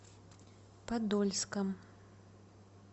подольском